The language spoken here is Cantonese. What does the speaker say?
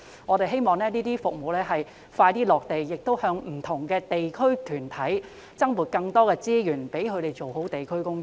我們希望當局盡快落實這些服務，並向不同的地區團體增撥資源，讓他們做好地區工作。